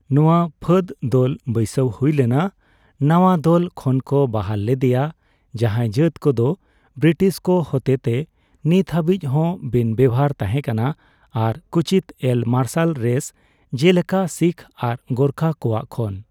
ᱱᱚᱣᱟ ᱯᱷᱟᱹᱫ ᱫᱚᱞ ᱵᱟᱹᱭᱥᱟᱹᱣ ᱦᱩᱭᱞᱮᱱᱟ ᱱᱟᱣᱟ ᱫᱚᱞ ᱠᱷᱚᱱᱠᱚ ᱵᱟᱦᱟᱞ ᱞᱮᱫᱮᱭᱟ, ᱡᱟᱦᱟᱸᱭ ᱡᱟᱹᱛ ᱠᱚᱫᱚ ᱵᱨᱤᱴᱤᱥ ᱠᱚ ᱦᱚᱛᱮᱛᱮ ᱱᱤᱛ ᱦᱟᱹᱵᱤᱡᱽᱦᱚᱸ ᱵᱤᱱᱼᱵᱮᱣᱦᱟᱨ ᱛᱟᱦᱮᱸ ᱠᱟᱱᱟ ᱟᱨ ᱠᱩᱪᱤᱛᱼᱮᱞ ' ᱢᱟᱨᱥᱟᱞ ᱨᱮᱥ' ᱡᱮᱞᱮᱠᱟ ᱥᱤᱠᱷ ᱟᱨ ᱜᱳᱨᱠᱷᱟ ᱠᱚᱣᱟᱜ ᱠᱷᱚᱱ ᱾